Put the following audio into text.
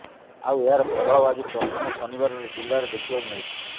ଆଉ ଏହାର ପ୍ରଭାବ ଆଜି ପ୍ରଥମ ଶନିବାରରେ ଜିଲ୍ଲାରେ ଦେଖିବାକୁ ମିଳିଛି